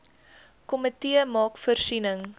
komitee maak voorsiening